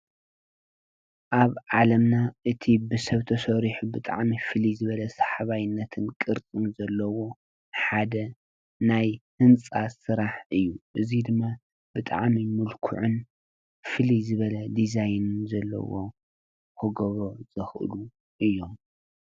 አብ ዓለምና እቲ ብስብ ተስሪሑ ብጣዕሚ ፍልይ ዝበለ ሳሓባይነትን ቅርፅን ዘለዎ ሓደ ናይ ህንፃ ስራሕ እዩ። እዚ ድማ ብጣዕሚ ሙልኩዕን ፍልይ ዝበለ ዲዛይን ዘለዎ ክገብሮ ዘኽእሉ እዮም።